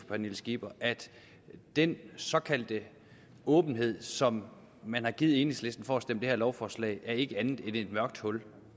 pernille skipper at den såkaldte åbenhed som man har givet enhedslisten for at stemme for det her lovforslag ikke er andet end et mørkt hul